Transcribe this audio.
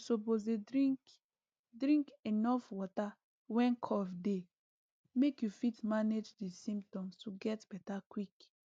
you suppose dey drink drink enuf water when cough dey make you fit manage di symptoms to get beta quick